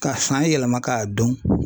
Ka san yɛlɛma k'a don.